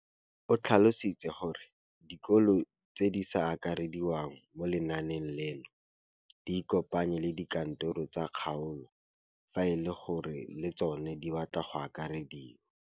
O tlhalositse gore dikolo tse di sa akarediwang mo lenaaneng leno di ikopanye le dikantoro tsa kgaolo fa e le gore le tsona di batla go akarediwa.